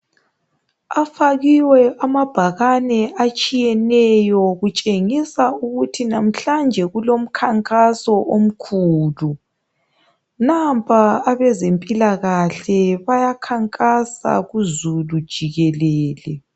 Afakiwe amabhakane atshiyeneyo kutshengisa ukuthi namhlanje kulomkhankaso omkhulu. Nampa abezempilakahle bayakhankasa kuzulu jikelele.